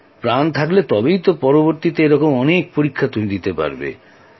প্রাণ থাকলে তবেই পরবর্তীতে এরকম অনেক পরীক্ষা দিতে পারবে